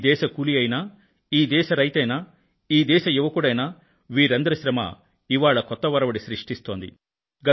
ఈ దేశ కూలీ అయినా ఈ దేశ రైతైనా ఈ దేశ యువకుడైనా వీరందరి శ్రమ ఇవాళ కొత్త ఒరవడి సృష్టిస్తోంది